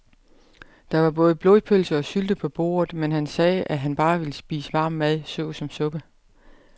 Der var både blodpølse og sylte på bordet, men han sagde, at han bare ville spise varm mad såsom suppe.